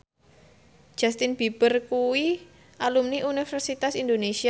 Justin Beiber kuwi alumni Universitas Indonesia